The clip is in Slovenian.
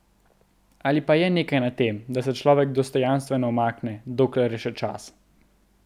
Ali pa je nekaj na tem, da se človek dostojanstveno umakne, dokler je še čas?